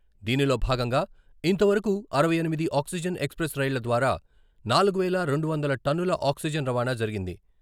దీనిలో భాగంగా ఇంతవరకు అరవై ఎనిమిది ఆక్సిజన్ ఎక్స్ప్రెస్ రైళ్ల ద్వారా నాలుగు వేల రెండు వందల టన్నుల ఆక్సిజన్ రవాణా జరిగింది.